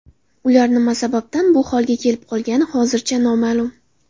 Ular nima sababdan bu holga kelib qolgani hozircha noma’lum.